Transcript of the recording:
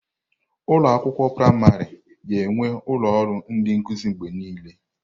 Ụlọ akwụkwọ praịmarị ga-enwe ụlọ ọrụ ndị nkuzi mgbe niile.